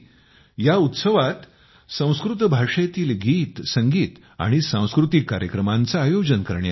या उत्सवात संस्कृत भाषेतील गीतसंगीत आणि सांस्कृतिक कार्यक्रमांचे आयोजन करण्यात येते